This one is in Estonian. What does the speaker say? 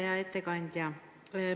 Hea ettekandja!